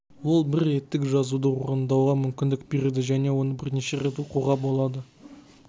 ол бір реттік жазуды орындауға мүмкіндік береді және оны бірнеше рет оқуға болады